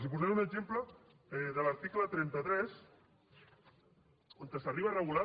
els posaré un exemple de l’article trenta tres on s’arriba a regular